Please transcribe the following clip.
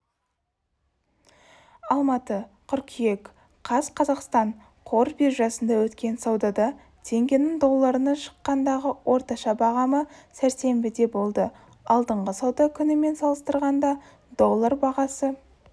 алматы қыркүйек қаз қазақстан қор биржасында өткен саудада теңгенің долларына шаққандағы орташа бағамы сәрсенбіде болды алдыңғы сауда күнімен салыстырғанда доллар бағасы